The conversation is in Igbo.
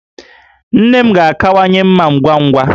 Nne m ga-akawanye mma ngwa ngwa